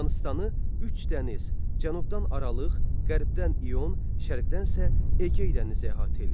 Yunanıstanı üç dəniz, cənubdan Aralıq, qərbdən İon, şərqdən isə Egey dənizi əhatə eləyir.